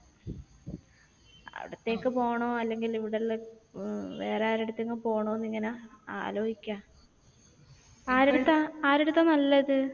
അവിടത്തേക്ക് പോണോ അല്ലെങ്കിൽ ഇവിടെയുള്ള വേറെ ആരുടെ അടുത്തെങ്കിലും പോണോ എന്നിങ്ങനെ ആലോജിക്ക. ആരടുത്ത? ആരടുത്ത നല്ലത്?